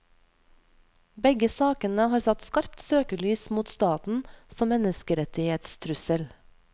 Begge sakene har satt skarpt søkelys mot staten som menneskerettighetstrussel.